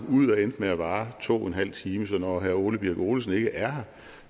ud og endte med at vare to en halv time så når herre ole birk olesen ikke er